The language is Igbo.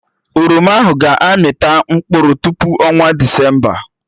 Oroma ahụ ga-amị ta mkpụrụ tupu ọnwa Desemba